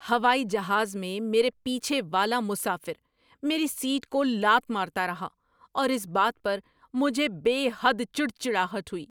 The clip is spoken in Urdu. ہوائی جہاز میں میرے پیچھے والا مسافر میری سیٹ کو لات مارتا رہا اور اس بات پر مجھے بے حد چڑچڑاہٹ ہوئی۔